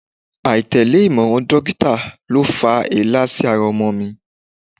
Aitẹle imọran dokita lo fa èélá si ara ọmọ rẹ